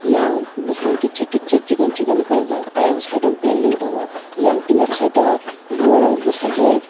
eyang bopang kitsa kitsa sikon sikon kaijak eyang site o belding tongo eyang kinarti site o boma bai bosajok.